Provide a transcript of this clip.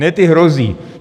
Ne, ty hrozí.